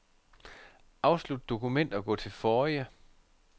Afslut dokument og gå til forrige.